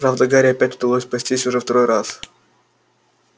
правда гарри опять удалось спастись уже второй раз